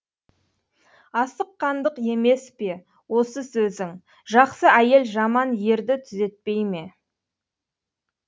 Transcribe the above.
асыққандық емес пе осы сөзің жақсы әйел жаман ерді түзетпей ме